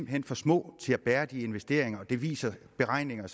hen for små til at kunne bære de investeringer og det viser beregninger